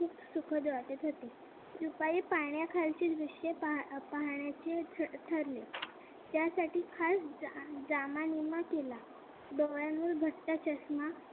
सुखद वाटत होती दुपारी पाण्याखालचे दृश्य पाहण्याचे ठरले त्यासाठी खास जामानिमा केला डोळ्यांवर मोठा चष्मा